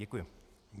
Děkuji.